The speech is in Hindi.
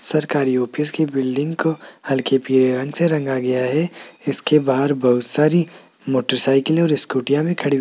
सरकारी ऑफिस की बिल्डिंग को हल्के पीले रंग से रंगा गया है इसके बाहर बहुत सारी मोटरसाइकिलें और स्कूटियां भी खड़ी हुई --